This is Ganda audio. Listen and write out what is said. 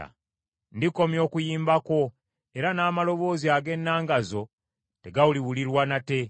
Ndikomya okuyimba kwo, era n’amaloboozi ag’ennanga zo tegaliwulirwa nate.